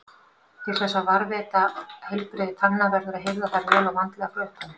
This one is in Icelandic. Til þess að varðveita heilbrigði tanna verður að hirða þær vel og vandlega frá upphafi.